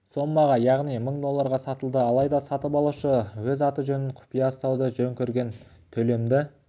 соммаға яғни мың долларға сатылды алайда сатып алушы өз аты-жөнін құпия ұстауды жөн көрген төлемді